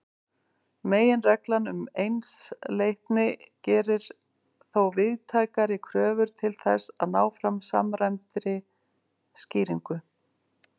Meginreglan um einsleitni gerir þó víðtækari kröfur til þess að ná fram samræmdri skýringu.